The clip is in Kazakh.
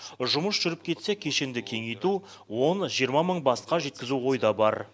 жұмыс жүріп кетсе кешенді кеңейту он жиырма мың басқа жеткізу ойда бар